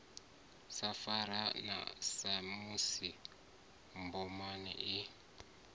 sa fa samusi mboma i